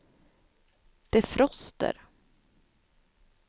defroster